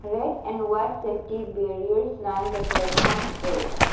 red and white safety barriers lined the platform edge.